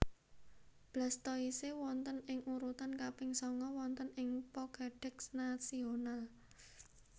Blastoise wonten ing urutan kaping sanga wonten ing Pokédex nasional